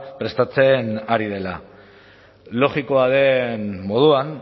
prestatzen ari dela logikoa den moduan